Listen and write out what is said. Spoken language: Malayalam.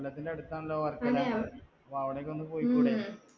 കൊല്ലത്തിന്റെ അടുത്താണല്ലോ വർക്കല അപ്പൊ അവിടെക്കൊന്ന് പൊയ്ക്കൂടേ